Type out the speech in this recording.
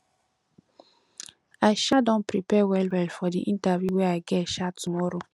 i um don prepare wellwell for di interview wey i get um tomorrow